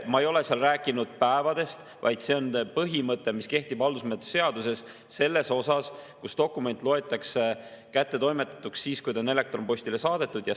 Me ei ole rääkinud päevadest, vaid see on põhimõte, mis kehtib haldusmenetluse seaduses selles osas, kus dokument loetakse kättetoimetatuks siis, kui ta on elektronpostile saadetud.